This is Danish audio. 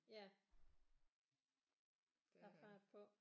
Ja der er fart på